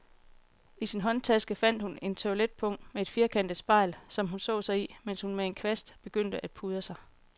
I sin håndtaske fandt hun et toiletpung med et firkantet spejl, som hun så sig i, mens hun med en kvast begyndte at pudre sig.